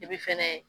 fɛnɛ